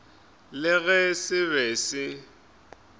le ge se be se